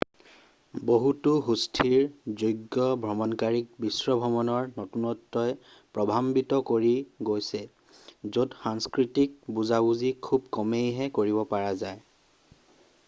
বহুতো সুস্থিৰ যোগ্য ভ্ৰমণকাৰীক বিশ্বভ্ৰমণৰ নতুনত্বই প্ৰভাৱান্বিত কৰি গৈছে য'ত সাংস্কৃতিক বুজাবুজি খুব কমেইহে কৰিব পৰা যায়